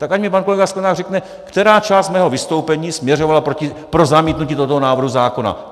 Tak ať mi pan kolega Sklenák řekne, která část mého vystoupení směřovala pro zamítnutí tohoto návrhu zákona.